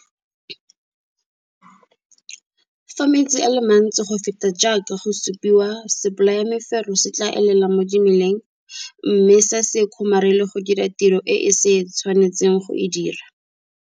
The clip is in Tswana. Fa metsi a le mantsi go feta jaaka go supiwa sebolayamefero se tlaa elela mo dimeleng mme sa se kgomarele go dira tiro e se tshwanetseng go e dira.